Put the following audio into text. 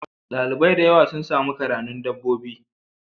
Dalibai dayawa sun Sami karanun dabbobi